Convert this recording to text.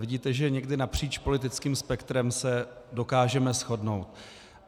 Vidíte, že někdy napříč politickým spektrem se dokážeme shodnout.